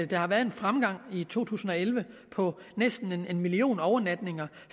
der har været en fremgang i to tusind og elleve på næsten en million overnatninger